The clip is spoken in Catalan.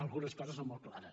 algunes coses són molt clares